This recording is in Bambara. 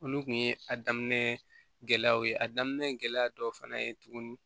Olu kun ye a daminɛ gɛlɛyaw ye a daminɛ gɛlɛya dɔw fana ye tuguni